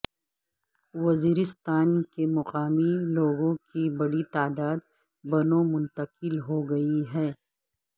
وزیرستان کے مقامی لوگوں کی بڑی تعداد بنوں منتقل ہو گئی ہے